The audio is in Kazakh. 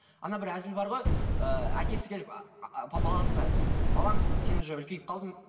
ана бір әзіл бар ғой ыыы әкесі келіп ааа баласына балам сен уже үлкейіп қалдың